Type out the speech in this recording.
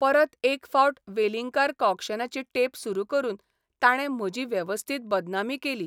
परत एक फावट वेलिंगकार कॉक्शनाची टेप सुरू करून ताणे म्हजी वेवस्थीत बदनामी केली.